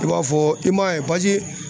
I b'a fɔ i m'a ye